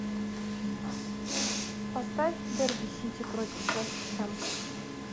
поставь дерби сити против вест хэм